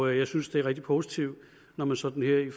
jeg synes det er rigtig positivt når man sådan her i